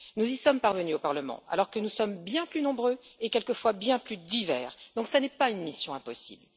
Nous y sommes parvenus au Parlement, alors que nous sommes bien plus nombreux et quelquefois bien plus divers, donc cela n'est pas une mission impossible.